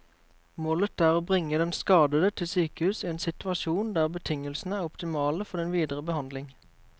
Målet er å bringe den skadede til sykehus i en situasjon der betingelsene er optimale for den videre behandling.